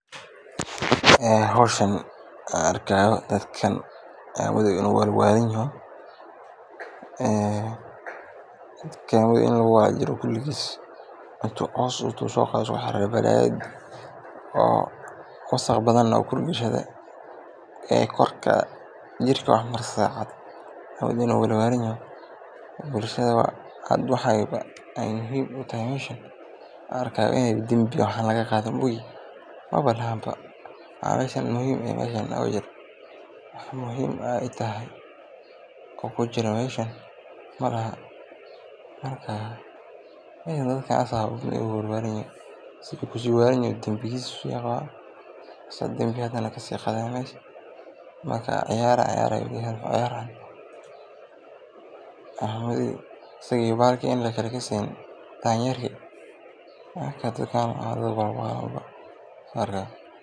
Howshan aan arkaayo dadkan aad unaleso inaay walwalna yihiin, oo coos wasaq badan kurka gashteen, bulshada wax aay muhiim utahay malahan, in danbi laga qaado maahane, dadkan ayaga ayaaba saan uwalan, ciyaar aay ciyarayan malmahan, waawa dad walwaalan.